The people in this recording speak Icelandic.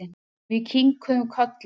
Við kinkuðum kolli.